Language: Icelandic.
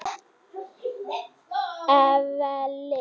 Evelyn